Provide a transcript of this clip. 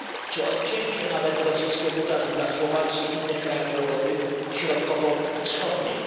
czy nawet odcięcia rosyjskiego gazu dla Słowacji i innych krajów Europy Środkowo Wschodniej.